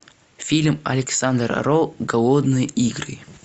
фильм александра роу голодные игры